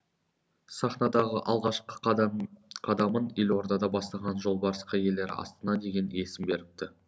сахнадағы алғашқы қадамын елордада бастаған жолбарысқа иелері астана деген есім беріпті